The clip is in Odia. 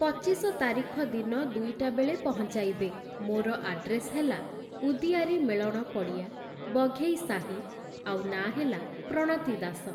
ପଚିଶ ତାରିଖ ଦିନ ଦୁଇଟା ବେଳେ ପହଞ୍ଚାଇବେ । ମୋର ଆଡ୍ରେସ୍‌ ହେଲା ଉଦିଆରି ମେଳଣ ପଡ଼ିଆ, ବଘେଇସାହି ଆଉ ନାଁ ହେଲା ପ୍ରଣତି ଦାସ ।